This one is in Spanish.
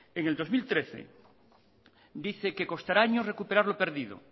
en el dos mil trece dice que costará años recuperar lo perdido